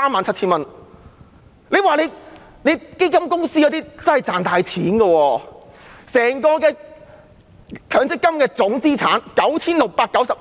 強積金計劃的總資產高達 9,690 億